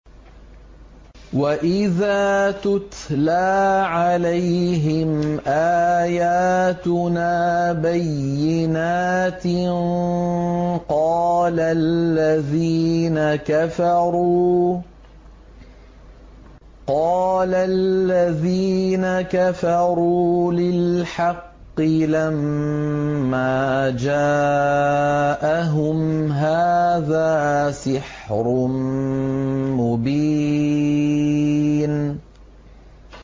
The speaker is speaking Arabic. وَإِذَا تُتْلَىٰ عَلَيْهِمْ آيَاتُنَا بَيِّنَاتٍ قَالَ الَّذِينَ كَفَرُوا لِلْحَقِّ لَمَّا جَاءَهُمْ هَٰذَا سِحْرٌ مُّبِينٌ